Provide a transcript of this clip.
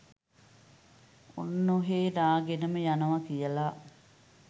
ඔන්නොහේ නාගෙනම යනවා කියලා.